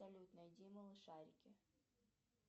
салют найди малышарики